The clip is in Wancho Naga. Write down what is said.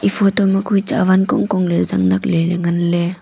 photo ma kue chawan kongkong ley zannakley ley nganley.